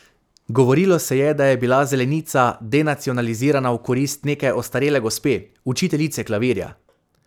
Govorilo se je, da je bila zelenica denacionalizirana v korist neke ostarele gospe, učiteljice klavirja.